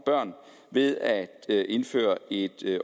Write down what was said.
børn ved at indføre et